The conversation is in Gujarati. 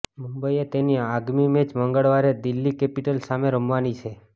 મુંબઈએ તેની આગામી મેચ મંગળવારે દિલ્હી કેપિટલ્સ સામે રમવાની છે